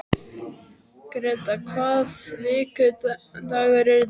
Gréta, hvaða vikudagur er í dag?